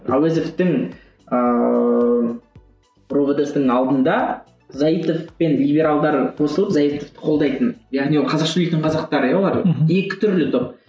әуезовтің ыыы ровд сының алдында заитов пен либералдар қосылып заитовты қолдайтын яғни ол қазақша сөйлейтін қазақтар ия олар екі түрлі топ